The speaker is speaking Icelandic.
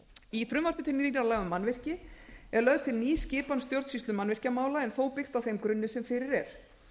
í frumvarpi til laga um mannvirki er lögð til ný skipan um stjórnsýslu mannvirkjamála en þó byggt á þeim grunni sem fyrir er